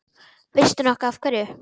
Veistu nokkuð af hverju?